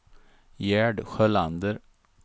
Gerd Sjölander